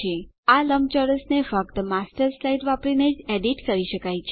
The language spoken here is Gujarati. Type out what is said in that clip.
આ લંબચોરસને ફક્ત માસ્ટર સ્લાઇડ વાપરીને જ એડીટ કરી શકાય છે